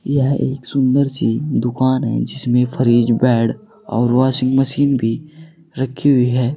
यह एक सुंदर सी दुकान है जिसमें फरीज बैड और वाशिंग मशीन भी रखी हुई है।